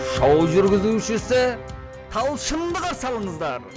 шоу жүргізушісі талшынды қарсы алыңыздар